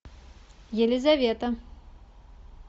елизавета